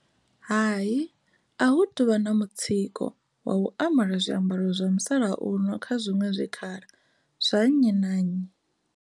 Hai, a hu tu vha na mutsiko wa u ambara zwiambaro zwa musalauno kha zwiṅwe zwikhala zwa nnyi na nnyi.